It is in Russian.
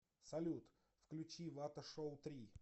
салют включи вата шоу три